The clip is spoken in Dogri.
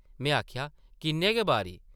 में आखेआ, ‘‘किन्ने गै बारी ।’’